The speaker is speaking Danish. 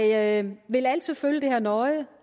jeg vil altid følge det her nøje